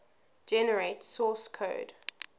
generate source code